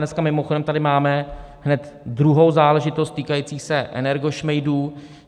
Dneska mimochodem tady máme hned druhou záležitost týkající se energošmejdů.